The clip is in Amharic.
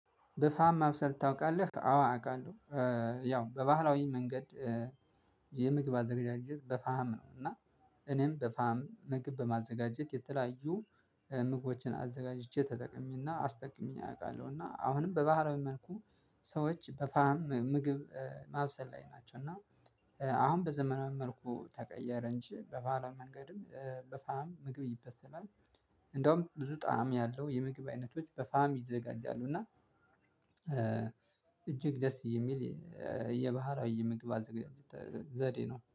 በፋም ማብሰል ታውቃለህ? አዎ አውቃለው ያው በባህላዊ መንገድ የምግብ አዘገዳጀት በፋም ነው እና እኔም በፋም ምግብ በማዘጋጀት የተለያዩ ምግቦችን አዘጋጅቼ ተጠቅሜና አስጠቅሜ አውቃለሁና አሁንም በባህላዊ መልኩ ሰዎች በፋም ምግብ ማብሰል ላይ ናቸው እና አሁን በዘመናዊ መልኩ ተቀየረ እንጂ በባህላዊ መንገድም በፋም ምግብ ይበሰላል። እንደውም ብዙ ጣዕም ያለው የምግብ አይነቶች በፋም ይዘጋጃሉ እና እጅግ ደስ የሚል የባህር የምግብ አዘገጃጀት ዘዴ ነው።